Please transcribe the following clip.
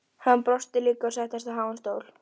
Hann brosti líka og settist á háan stól.